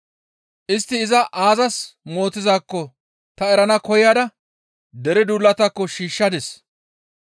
Istti iza aazas mootizaakko ta erana koyada dere duulataakko shiishshadis.